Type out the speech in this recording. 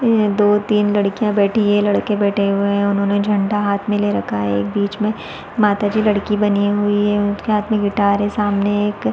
में दो तीन लड़कियां बैठी है लड़के बेठे हुए है उन्होंने झंडा हाथ में ले रखा है और बीच में माता जी लड़की बनी हुई है उनके हाथ में गिटार है सामने एक --.